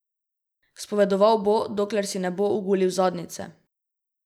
Spovedoval bo, dokler si ne bo ogulil zadnjice!